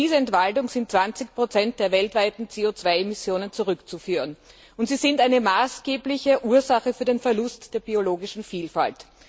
Auf diese Entwaldung sind 20 der weltweiten CO 2 Emissionen zurückzuführen und sie sind eine maßgebliche Ursache für den Verlust der biologischen Vielfalt.